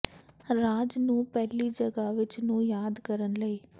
ਰਾਜ ਨੂੰ ਪਹਿਲੀ ਜਗ੍ਹਾ ਵਿੱਚ ਨੂੰ ਯਾਦ ਕਰਨ ਲਈ